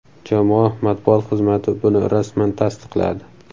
Jamoa matbuot xizmati buni rasman tasdiqladi.